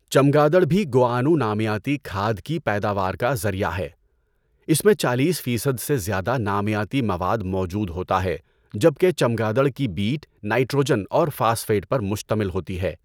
چمگادڑ بھی گوآنو نامیاتی کھاد کی پیداوار کا ذریعہ ہے۔ اس میں چالیس فیصد سے زیادہ نامیاتی مواد موجود ہوتا ہے جبکہ چمگادڑ کی بیٹ نائٹروجن اور فاسفیٹ پر مشتمل ہوتی ہے۔